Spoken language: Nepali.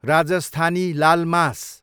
राजस्थानी लाल मास